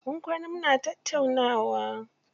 Mun kwana muna tattaunawa.